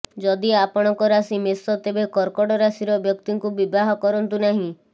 ଯଦି ଆପଣଙ୍କ ରାଶି ମେଷ ତେବେ କର୍କଟ ରାଶିର ବ୍ୟକ୍ତିଙ୍କୁ ବିବାହ କରନ୍ତୁ ନାହିଁ